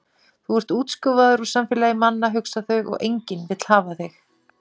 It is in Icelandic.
Þú ert útskúfaður úr samfélagi manna, hugsa þau, og enginn vill hafa þig.